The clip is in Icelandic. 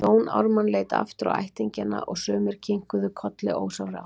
Jón Ármann leit aftur á ættingjana og sumir kinkuðu kolli ósjálfrátt.